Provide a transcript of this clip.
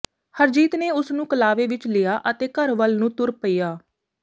ਹਰਜੀਤ ਨੇ ਉਸ ਨੂੰ ਕਲਾਵੇ ਵਿਚ ਲਿਆ ਅਤੇ ਘਰ ਵੱਲ ਨੂੰ ਤੁਰ ਪਈਆਂ